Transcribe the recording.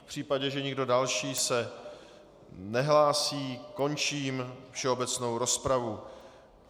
V případě, že nikdo další se nehlásí, končím všeobecnou rozpravu.